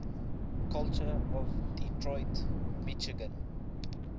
culture of detroit michigan